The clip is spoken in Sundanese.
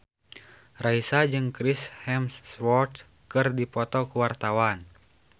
Raisa jeung Chris Hemsworth keur dipoto ku wartawan